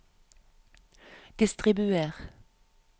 distribuer